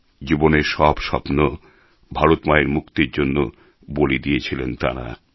জীবনের সব স্বপ্ন ভারত মায়ের মুক্তির জন্য বলি দিয়েছিলেন তাঁরা